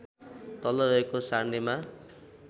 तल रहेको सार्नेमा